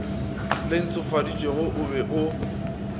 le ntshofaditšwego o be o